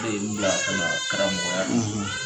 n bila ka na karamɔgɔya la.